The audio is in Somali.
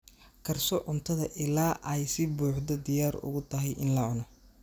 Karso cuntada ilaa ay si buuxda diyaar ugu tahay in la cuno.